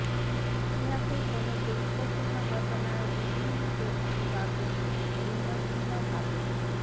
ইতিহাসের কোনো গুরুত্বপূর্ণ ঘটনার বিভিন্ন ব্যক্তি বা গোত্র ভিন্ন ভিন্নভাবে